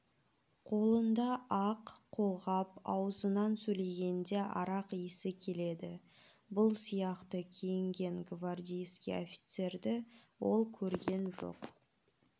қолында ақ қолғап аузынан сөйлегенде арақ исі келеді бұл сияқты киінген гвардейский офицерді ол көрген жоқ